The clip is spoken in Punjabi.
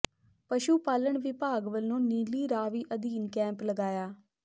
ਪਸ਼ੂ ਪਾਲਣ ਵਿਭਾਗ ਵਲੋਂ ਨੀਲੀ ਰਾਵੀ ਅਧੀਨ ਕੈਂਪ ਲਗਾਇਆ